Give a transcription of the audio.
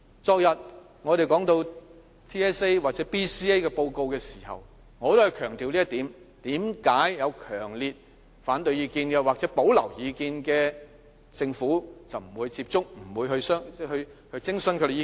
昨天，我們說到 TSA 或 BCA 的報告時也強調這一點，為何有強烈反對意見或有保留意見的，政府便不會接觸和徵詢他們的意見？